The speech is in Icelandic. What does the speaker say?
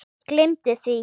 Gleymdu því.